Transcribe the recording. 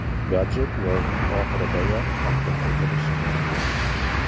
Gadjet yozning oxiridayoq taqdim etilishi mumkin.